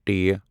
ٹ